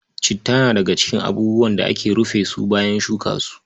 Citta na daga cikin abubuwan da ake rufe su bayan shuka su.